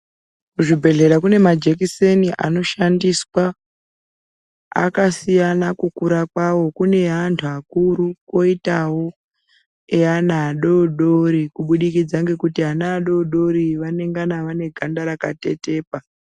Kuzvibhendlera kune ma jekiseni anoshandiswa. Akasiyana kukura kwawo, kune eantu akuru kwoitawo eana adodori. Kubudikidza ngekuti ana adodori vanengana vane ganda rakatetepa.